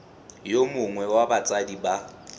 yo mongwe wa batsadi ba